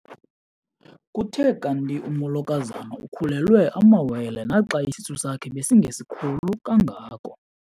Kuthe kanti umolokazana ukhulelwe amawele naxa isisu sakhe besingesikhulu kangako.